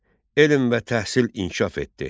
Elm və təhsil inkişaf etdi.